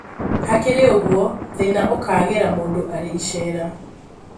Hakĩrĩ ũgũo, thĩna ũkagĩra mũndũ arĩ icera